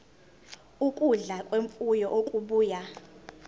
ukudla kwemfuyo okubuya